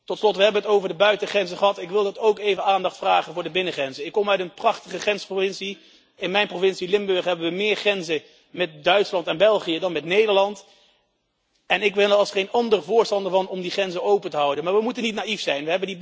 Tot slot, we hebben het over de buitengrenzen gehad, maar ik wil toch ook even aandacht vragen voor de binnengrenzen. Ik kom uit een prachtige grensprovincie. In mijn provincie Limburg hebben we meer grenzen met Duitsland en België dan met Nederland en ik ben er als geen ander voorstander van om die grenzen open te houden, maar we moeten niet naïef zijn.